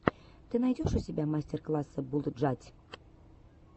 ты найдешь у себя мастер классы булджать